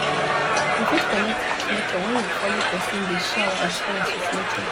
we fit connect with nature when we follow persin de share our experience with nature